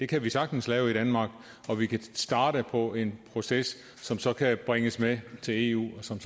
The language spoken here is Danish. kan vi sagtens lave i danmark og vi kan starte på en proces som så kan bringes med til eu og som